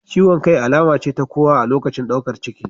Ciwon kai alama ce ta kowa a lokacin daukar ciki.